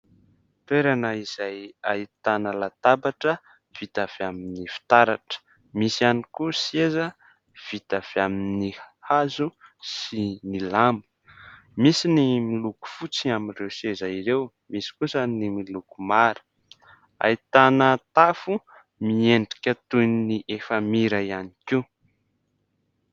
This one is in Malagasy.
Toerana izay ahitana latabatra vita avy amin'ny fitaratra. Misy ihany koa seza vita avy amin'ny hazo sy ny lamo misy ny miloko fotsy amin'ireo seza ireo misy kosa ny miloko mara. Ahitana tafo miendrika toy ny efamira ihany koa.